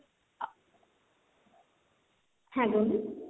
হ্যাঁ বলুন?